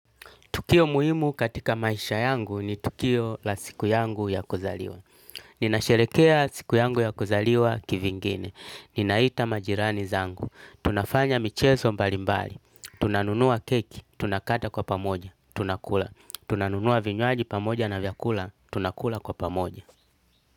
Tukio muimu katika maisha yangu ni tukio la siku yangu ya kuzaliwa. Ninasherekea siku yangu ya kuzaliwa kivingine. Ninaita majirani zangu. Tunafanya micheso mbalimbali. Tunanunua keki, tunakata kwa pamoja, tunakula. Tunanunua vinywaji pamoja na vyakula, tunakula kwa pamoja.